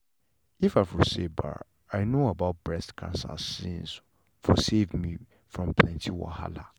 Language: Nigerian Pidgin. if for say ba i know about breast cancer sincee for save me from plenty wahala